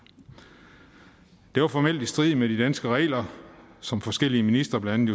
det var formelt i strid med de danske regler som forskellige ministre blandt